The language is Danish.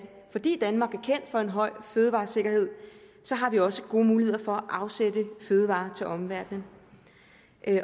fordi danmark er kendt for en høj fødevaresikkerhed har vi også gode muligheder for at afsætte fødevarer til omverdenen